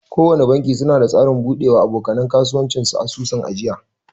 Kowana banki suna da tsarin bude wa aboka nan kasuwanci asusun ajiya.